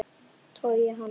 Togi hann.